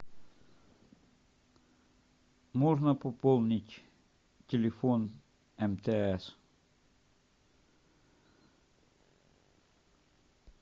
можно пополнить телефон мтс